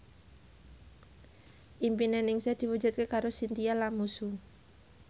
impine Ningsih diwujudke karo Chintya Lamusu